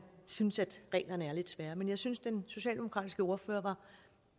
synes reglerne er lidt svære jeg synes den socialdemokratiske ordfører